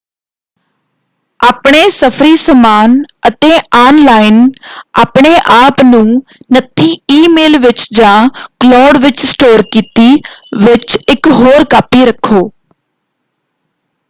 ਆਪਣੇ ਸਫ਼ਰੀ-ਸਮਾਨ ਅਤੇ ਆੱਨਲਾਈਨ ਆਪਣੇ ਆਪ ਨੂੰ ਨੱਥੀ ਈਮੇਲ ਵਿੱਚ ਜਾਂ ਕਲੋਡ ਵਿੱਚ ਸਟੋਰ ਕੀਤੀ ਵਿੱਚ ਇਕ ਹੋਰ ਕਾਪੀ ਰੱਖੋ।